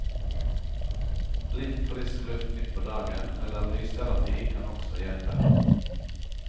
Litt frisk luft midt på dagen eller lysterapi kan også hjelpe.